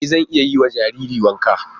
E zan iya yiwa jariri wanka.